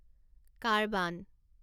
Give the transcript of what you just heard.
carbon